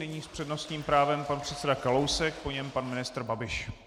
Nyní s přednostním právem pan předseda Kalousek, po něm pan ministr Babiš.